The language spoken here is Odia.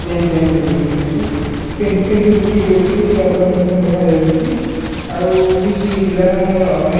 ଜେନ୍ ପେନ୍ ବି ବିକ୍ରି ହୋଉଚି ପେନ୍ସିଲ୍ ବି ବିକ୍ରି ହୋଉଚି କିଛି ରବର୍ ମଧ୍ୟ ଦେଖାଯାଉଚି ଆଉ କିଛି ପିଲାମାନଙ୍କର ଅନେକ୍ --